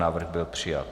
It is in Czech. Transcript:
Návrh byla přijat.